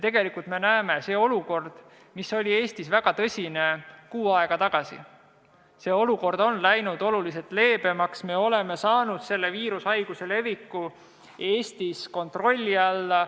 Tegelikult me näeme, et olukord, mis kuu aega tagasi oli Eestis väga tõsine, on läinud oluliselt leebemaks, me oleme saanud viirushaiguse leviku Eestis kontrolli alla.